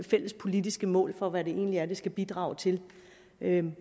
fælles politiske mål for hvad det egentlig skal bidrage til men